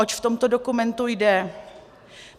Oč v tomto dokumentu jde?